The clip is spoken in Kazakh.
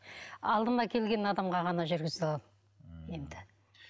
алдыма келген адамға ғана жүргізе аламын енді